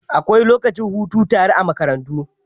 Akwai lokacin hutu tara a makarantu.